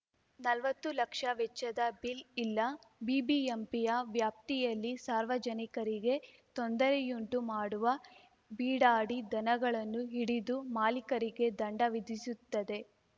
ನಲ್ವತ್ತು ಲಕ್ಷ ವೆಚ್ಚದ ಬಿಲ್‌ ಇಲ್ಲ ಬಿಬಿಎಂಪಿಯ ವ್ಯಾಪ್ತಿಯಲ್ಲಿ ಸಾರ್ವಜನಿಕರಿಗೆ ತೊಂದರೆಯುಂಟು ಮಾಡುವ ಬೀಡಾಡಿ ದನಗಳನ್ನು ಹಿಡಿದು ಮಾಲಿಕರಿಗೆ ದಂಡ ವಿಧಿಸುತ್ತದೆ